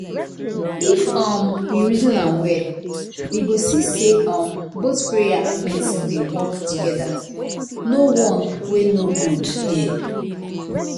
if um we reason am well. we go see say um both prayer and medicine dey work together. no one wey no good there